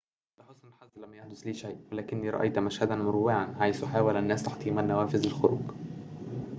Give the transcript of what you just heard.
لحسن الحظ لم يحدث لي شيء ولكني رأيت مشهدًا مروعًا حيث حاول الناس تحطيم النوافذ للخروج